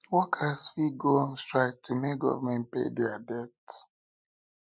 workers fit go on strike to make government pay their debts